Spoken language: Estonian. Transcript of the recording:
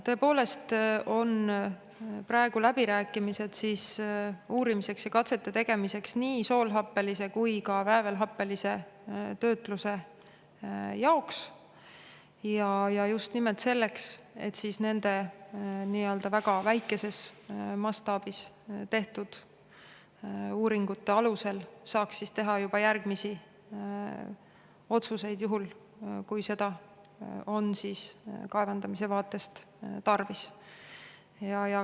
Tõepoolest on praegu läbirääkimised, et uurida ja teha katseid nii soolhappelise kui ka väävelhappelise töötluse jaoks, ja just nimelt selleks, et nende väga väikeses mastaabis tehtud uuringute alusel saaks teha juba järgmisi otsuseid, juhul kui seda on kaevandamise vaatest tarvis.